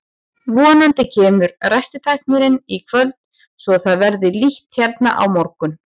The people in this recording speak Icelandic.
Vonandi kemur ræstitæknirinn í kvöld svo að það verði líft hérna á morgun.